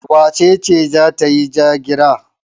Wace ce za ta yi ja-gira?